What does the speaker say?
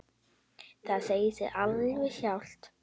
Það segir sig alveg sjálft.